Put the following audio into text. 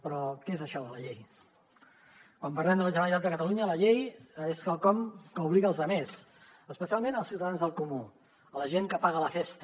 però què és això de la llei quan parlem de la generalitat de catalunya la llei és quelcom que obliga els altres especialment els ciutadans del comú la gent que paga la festa